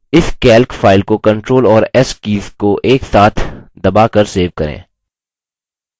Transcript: इस calc file को ctrl और s कीज़ को एकसाथ दबाकर सेव करें